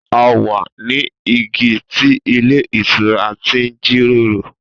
A wa ni igi ti ilé ìtura ti n jiroro.